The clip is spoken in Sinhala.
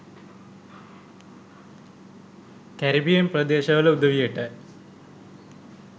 කැරිබියන් ප්‍රදේශවල උදවියට